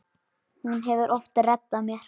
Hún hefur oft reddað mér.